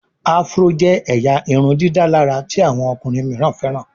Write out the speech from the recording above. Afro jé ẹyà irundidalara tí àwọn ọkùnrin míràn feran.